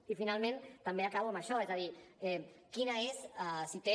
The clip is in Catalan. i finalment també acabo amb això és a dir quina és si en té